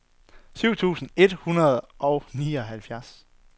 syv tusind et hundrede og nioghalvtreds